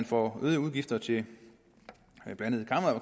får øgede udgifter til